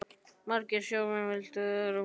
Margir sjómenn vildu vera með í leiknum.